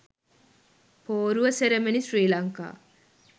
poruwa ceremony sri lanka